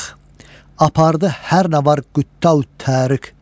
Apardı hər nə var Qüddav Tariq.